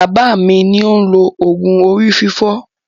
Bàbá mi ni ó ń lo òògùn orí fífọ́.